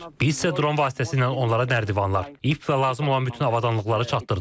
Biz isə dron vasitəsilə onlara nərdivanlar, ip və lazım olan bütün avadanlıqları çatdırdıq.